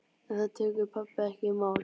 En það tekur pabbi ekki í mál.